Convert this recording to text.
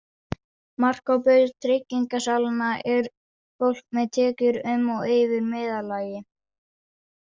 Markhópur tryggingasalanna er fólk með tekjur um og yfir meðallagi.